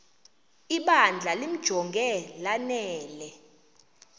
ibandla limjonge lanele